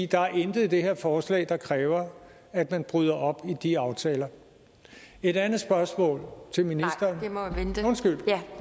der er intet i det her forslag der kræver at man bryder op i de aftaler et andet spørgsmål til ministeren